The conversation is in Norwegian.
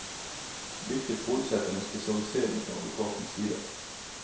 Hvilket forutsetter en spesialisering fra advokatens side.